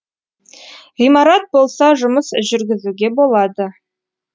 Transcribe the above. ғимарат болса жұмыс жүргізуге болады